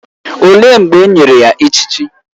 Olee mgbe e nyere ya echichi?